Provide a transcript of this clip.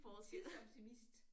En tidsoptimist